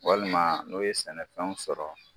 Walima n'o ye sɛnɛfɛnw sɔrɔ